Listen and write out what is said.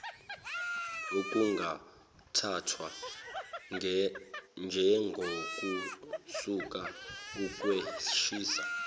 okungathathwa njengokususa ukwehlisa